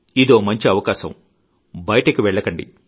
ఇదో మంచి అవకాశం బయటకు వెళ్లకండి